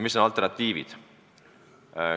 Mis on alternatiivid?